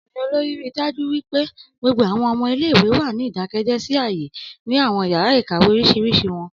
Ọmọkunrin olori rii daju pe gbogbo awọn ọmọ ile-iwe wa ni idakẹjẹ si aaye ni awọn yara ikawe oriṣiriṣi wọn.